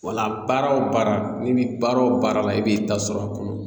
Wala baara o baara n'i bi baara o baara la i b'i ta sɔrɔ a kɔnɔ